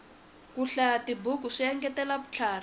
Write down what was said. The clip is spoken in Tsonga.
ku hlayatibuku swi engetela vutlhari